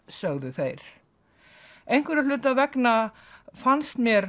sögðu þeir einhverra hluta vegna fannst mér